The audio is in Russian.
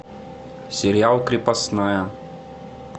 сериал крепостная